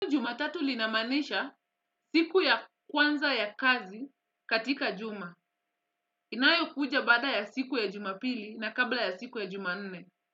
Juma tatu linamaanisha siku ya kwanza ya kazi katika juma. Inayo kuja bada ya siku ya juma pili na kabla ya siku ya juma nne.